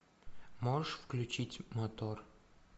можешь включить мотор